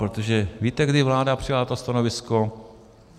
Protože víte, kdy vláda přijala to stanovisko?